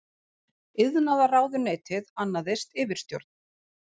Iðnaðarráðuneytið annaðist yfirstjórn.